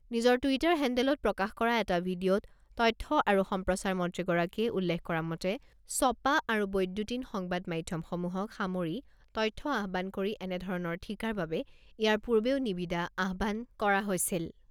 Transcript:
নিজৰ টুইটাৰ হেণ্ডেলত প্ৰকাশ কৰা এটা ভিডিঅ'ত তথ্য আৰু সম্প্ৰচাৰ মন্ত্ৰীগৰাকীয়ে উল্লেখ কৰা মতে ছপা আৰু বৈদ্যুতিন সংবাদ মাধ্যমসমূহক সামৰি তথ্য আহ্বান কৰি এনে ধৰণৰ ঠিকাৰ বাবে ইয়াৰ পূৰ্বেও নিবিদা আহ্বান কৰা হৈছিল।